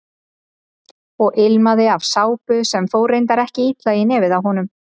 Og ilmaði af sápu sem fór reyndar ekkert illa í nefið á honum.